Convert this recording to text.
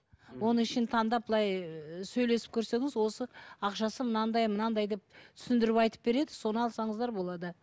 оның ішін таңдап былай сөйлесіп көрсеңіз осы ақшасы мынандай мынандай деп түсіндіріп айтып береді соны алсаңыздар болады